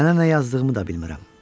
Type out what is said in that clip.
Sənə nə yazdığımı da bilmirəm.